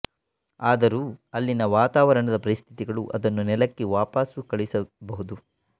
ಆದರೂ ಅಲ್ಲಿನ ವಾತಾವರಣದ ಪರಿಸ್ಥಿತಿಗಳು ಅದನ್ನು ನೆಲಕ್ಕೆ ವಾಪಸ್ಸು ಕಳಿಸಬಹುದು